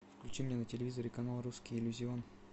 включи мне на телевизоре канал русский иллюзион